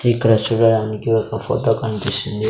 ఇక్కడ చూడటానికి ఒక ఫోటో కనిపిస్తుంది.